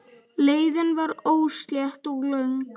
Leiðin var óslétt og löng.